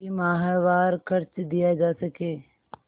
कि माहवार खर्च दिया जा सके